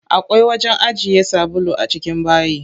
Akwai wajen ajiye sabulu a cikin bayi.